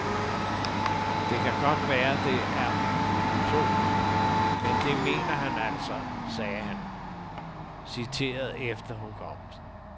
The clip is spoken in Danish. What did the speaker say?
Det kan godt være, at det er utopisk, men det mener han altså, sagde han, citeret efter hukommelsen.